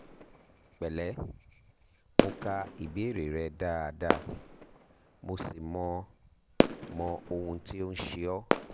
pẹ̀lẹ́ mo ka ìbéèrè rẹ dáadáa mo sì mọ mọ ohun tí ò ń ṣe ọ́